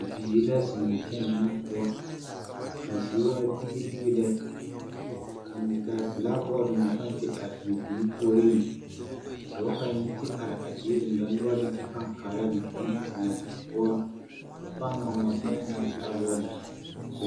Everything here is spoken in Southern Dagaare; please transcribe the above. Bibiiri la zeŋaa kyɛnɛɛ na poɔ kaa zie waa tige tige lɛ ka belaagbɔɔte meŋ paŋ te are a bibiiri puoreŋ ka dɔɔ kaŋ yi te are a die deŋdɔre noɔreŋ kyɛ paŋ kaara a bibiiri naŋ zeŋaa die poɔ ka ba paŋ ŋma ŋma boma eŋaa belaagbɔɔte zu.